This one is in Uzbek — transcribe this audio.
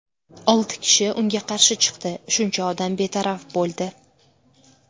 Olti kishi unga qarshi chiqdi, shuncha odam betaraf bo‘ldi.